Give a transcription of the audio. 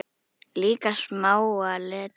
Líka smáa letrið.